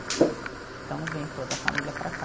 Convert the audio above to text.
Então vem toda a família para cá.